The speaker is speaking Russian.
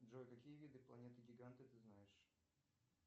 джой какие виды планеты гиганты ты знаешь